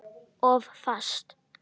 Of fast.